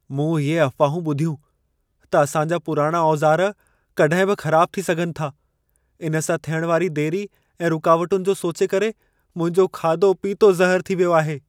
मूं इहे अफ़वाहूं ॿुधियूं त असां जा पुराणा औज़ार कॾहिं बि ख़राबु थी सघनि था। इन सां थियण वारी देरि ऐं रुकावटुनि जो सोचे करे मुंहिंजो खाधो पीतो ज़हरु थी वियो आहे।